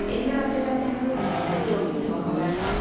Elmira Seyfəddinqızı, Səfər Nəzirov, İTV Xəbər.